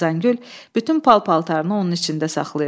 Xəzəngül bütün pal-paltarını onun içində saxlayırdı.